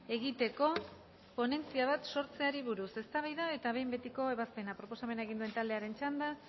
egiteko ponentzia bat sortzeari buruz eztabaida eta behin betiko ebazpena proposamena egin duen taldearen txanda